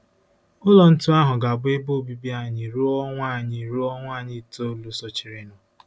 Ụlọ ntu ahụ ga-abụ ebe obibi anyị ruo ọnwa anyị ruo ọnwa itoolu sochirinụ.